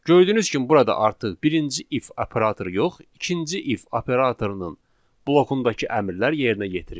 Gördüyünüz kimi burada artıq birinci if operatoru yox, ikinci if operatorunun blokundakı əmrlər yerinə yetirildi.